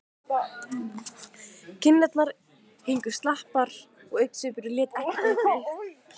Kinnarnar héngu slapar og augnsvipurinn lét ekkert uppi.